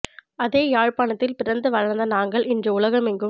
அதே யாழ்பாணத்தில் பிறந்து வளர்ந்த நாங்கள் இன்று உலகெங்கும்